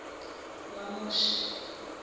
wamomushi